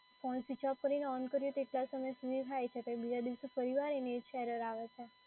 Phone switch off કરીને on કરીએ તો તેટલા સમય સુધી થાય છે પછી બીજા દિવસે ફરીવાર એની એ જ error આવે છે.